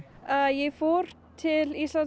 ég fór til Íslands